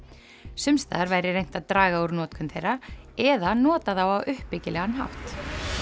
sums staðar væri reynt að draga úr notkun þeirra eða nota þá á uppbyggilegan hátt